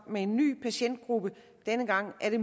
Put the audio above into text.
med en ny patientgruppe og denne gang er det